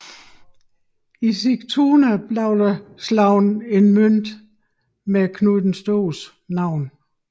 I Sigtuna blev der slået en mønt med Knud den Stores navn